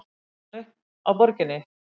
Grófstu hann upp á Borginni?